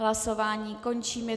Hlasování končím.